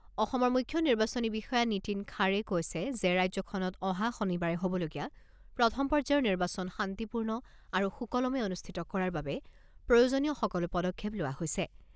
অসমৰ মুখ্য নিৰ্বাচনী বিষয়া নীতিন খাড়ে কৈছে যে ৰাজ্যখনত অহা শনিবাৰে হ'বলগীয়া প্ৰথম পৰ্যায়ৰ নিৰ্বাচন শান্তিপূৰ্ণ আৰু সুকলমে অনুষ্ঠিত কৰাৰ বাবে প্ৰয়োজনীয় সকলো পদক্ষেপ লোৱা হৈছে।